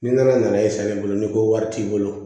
Ni nana n'a ye sa ale bolo ni ko wari t'i bolo